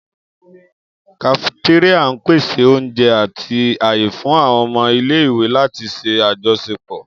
Kafetéríà n pese oúnjẹ ati aaye fun àwọn ọmọ ile-iwe lati ṣe ajọṣepọ.